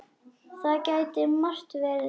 Það gæti margt verið verra.